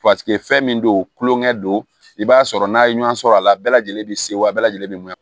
fɛn min don tulonkɛ don i b'a sɔrɔ n'a ye ɲɔgɔn sɔrɔ a la bɛɛ lajɛlen bɛ se wa bɛɛ lajɛlen